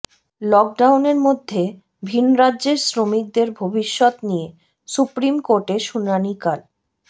লকডাউনের মধ্যে ভিনরাজ্যের শ্রমিকদের ভবিষ্যৎ নিয়ে সুপ্রিম কোর্টে শুনানি কাল